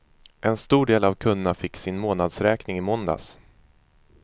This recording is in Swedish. En stor del av kunderna fick sin månadsräkning i måndags.